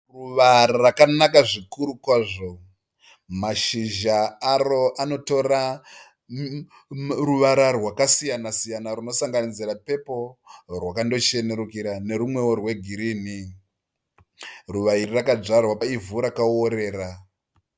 Ruva rakanaka zvikuru kwazvo. Mashizha aro anotora ruvara rwakasiyana siyana runosanganisira pepuro, rwakandochenerukira nerumwewo rwegirini. Ruva iri rakadyarwa paivhu rakaworera.